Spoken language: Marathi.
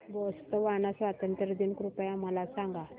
बोत्सवाना स्वातंत्र्य दिन कृपया मला सांगा